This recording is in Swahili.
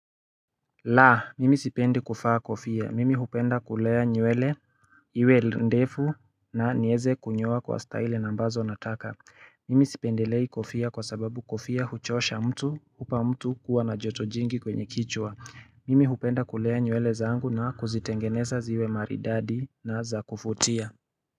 Laa mimi sipendi kufaa kofia mimi hupenda kulea nyuele iwe ndefu na nieze kunyua kwa style nambazo nataka mimi sipendelei kofia kwa sababu kofia huchosha mtu upa mtu kuwa na jotojingi kwenye kichwa mimi hupenda kulea nyuele zaangu na kuzitengeneza ziwe maridadi na za kufutia.